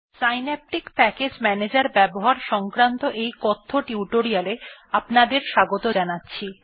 Synaptic package manager ব্যবহার সংক্রান্ত এই কথ্য টিউটোরিয়ালে আপনাদের স্বাগত জানাচ্ছি